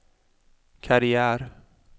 karriär